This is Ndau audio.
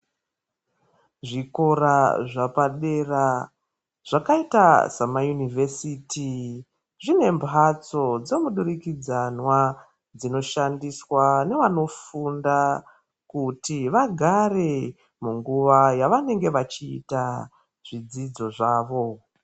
Zvikora zvepadera zvakaita samaunivhesiti dzine mbatso dzemudurikidzwana dzinoshandiswa nevanifunda kuti vagare munguwa yavanenge vachiita zvidzidzo zvawo.